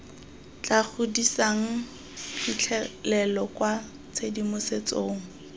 tla godisang phitlhelelo kwa tshedimosetsong